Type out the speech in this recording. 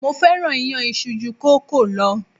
Mo fẹ́ràn iyán isu ju kòókòó lọ.